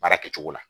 Baara kɛcogo la